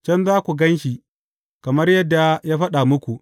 Can za ku gan shi, kamar yadda ya faɗa muku.’